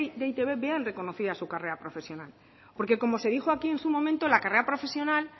de e i te be vean reconocida su carrera profesional porque como se dijo aquí en su momento la carrera profesional